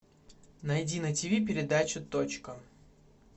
найди на тиви передачу точка